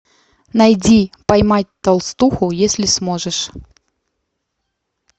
найди поймать толстуху если сможешь